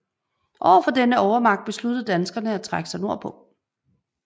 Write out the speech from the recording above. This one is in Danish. Over for denne overmagt besluttede danskerne at trække sig nordpå